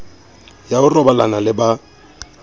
ya ho robalana le ba